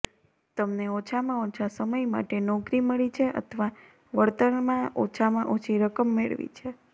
તમને ઓછામાં ઓછા સમય માટે નોકરી મળી છે અથવા વળતરમાં ઓછામાં ઓછી રકમ મેળવી છે